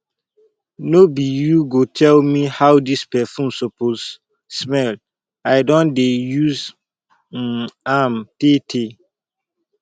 no be you go tell me how this perfume suppose smell i don dey use um am tay tay